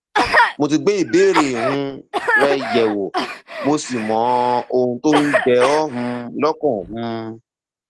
mo ti gbé ìbéèrè um rẹ yẹwò mo sì mọ ohun tó ń jẹ ọ um lọkàn um